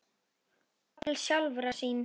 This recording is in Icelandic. og jafnvel sjálfra sín.